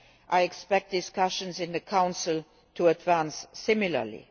I expect discussions in the Council to advance similarly.